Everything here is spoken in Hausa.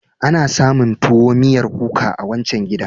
Ana samun tuwo miyar kuka a wancan gidan.